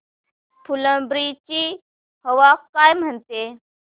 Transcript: फुलंब्री ची हवा काय म्हणते